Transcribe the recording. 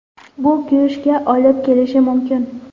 Bu kuyishga olib kelishi mumkin.